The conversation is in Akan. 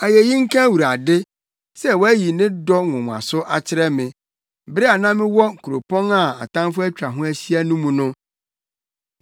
Ayeyi nka Awurade! Sɛ wayi ne dɔ nwonwaso akyerɛ me bere a na mewɔ kuropɔn a atamfo atwa ho ahyia no mu no.